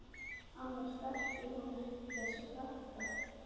Annars þekkir hún þessa krakka ekki neitt.